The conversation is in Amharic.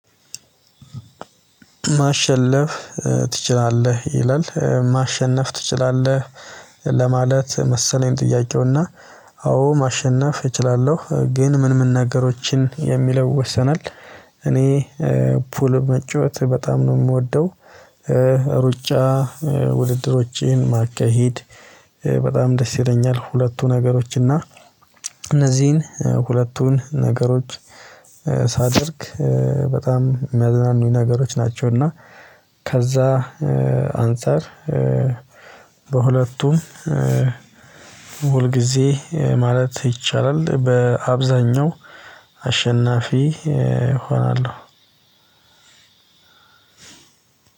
ማሸነፍ ትችላለህ? ይላል ማሸነፍ ትችላለህ መሰለኝ ጥያቄውና አዎ ማሸነፍ እችላለሁ ግን ምን ምን ነገሮችን የሚለው ይወሰናል እኔ ፑል መጫወት በጣም ነው የምወደው ሩጫ ውድድሮችን ማካሄድ በጣም ደስ ይለኛል ሁለቱ ነገሮች እና እነዚህን ሁለቱን ነገሮች ሳደርግ በጣም የሚያዝናኑኝ ነገሮች ናቸው እና ከዛ አንፃር በሁለቱም ሁለቱም ሁል ጊዜ ማለት ይቻላል በአብዛኛው አሸናፊ እሆናለሁ